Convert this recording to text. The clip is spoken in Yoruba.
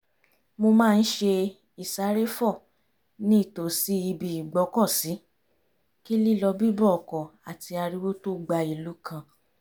mo má ń ṣe ìsáréfò ní ìtòsí ibi ìgbọ́kọ̀sí kí lílọ bíbọ̀ ọkọ̀ àti ariwo tó gba ìlú kan